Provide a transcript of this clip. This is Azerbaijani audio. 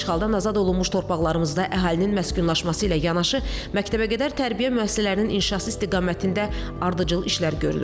İşğaldan azad olunmuş torpaqlarımızda əhalinin məskunlaşması ilə yanaşı məktəbə qədər tərbiyə müəssisələrinin inşası istiqamətində ardıcıl işlər görülür.